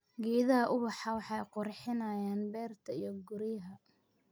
Geedaha ubaxa waxay qurxinayaan beerta iyo guryaha.